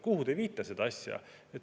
Kuhu te viite seda asja?